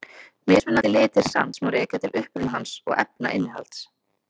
Mismunandi litir sands má rekja til uppruna hans og efnainnihalds.